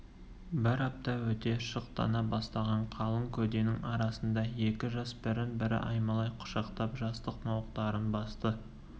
бір апта өте шықтана бастаған қалың көденің арасында екі жас бірін-бірі аймалай құшақтап жастық мауықтарын басты